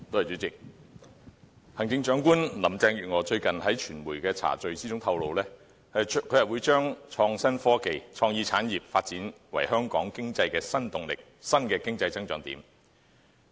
主席，行政長官林鄭月娥最近在傳媒茶敍中透露，將會把創新科技和創意產業發展為香港經濟的新動力、新的經濟增長點。